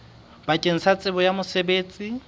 bakeng la tsebo ya mosebetsi